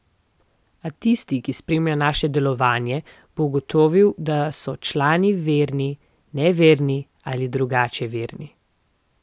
A tisti, ki spremlja naše delovanje, bo ugotovil, da so člani verni, neverni ali drugače verni.